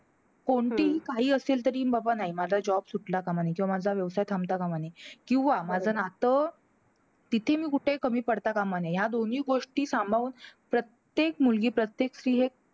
कोणतीही घाई असेल तरी बाबा नाही माझा job सुटता कामा नये. किंवा माझा व्यवसाय थांबता काम नये. किंवा माझं नातं तिथेही कुठे मी कमी पडता कामा नये. ह्या दोन्ही गोष्टी सांभाळून, प्रत्येक मुलगी प्रत्येक स्री एक